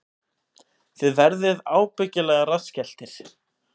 Þið verðið ábyggilega rassskelltir